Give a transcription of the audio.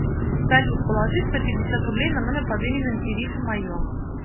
салют положи сто пятьдесят рублей на номер под именем ириша мое